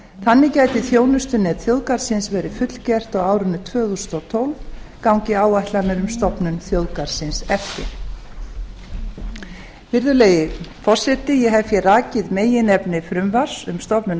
þannig gæti þjónustunet þjóðgarðsins verið fullgert á árinu tvö þúsund og tólf gangi áætlanir um stofnun þjóðgarðsins eftir virðulegi forseti ég hef hér rakið meginefni frumvarps um stofnun